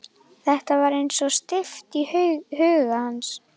Þetta var eins og steypt í huga hans.